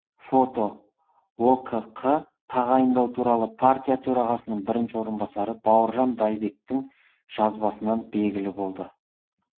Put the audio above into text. фото окқ тағайындау туралы партия төрағасының бірінші орынбасары бауыржан байбектің жазбасынан белгілі болды